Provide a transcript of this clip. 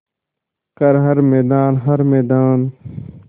कर हर मैदान हर मैदान